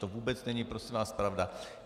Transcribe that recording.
To vůbec není prosím vás pravda.